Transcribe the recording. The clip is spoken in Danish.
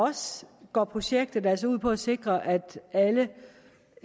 os går projektet altså ud på at sikre at alle